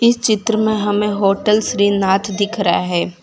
चित्र में हमें होटल श्रीनाथ दिख रहा है।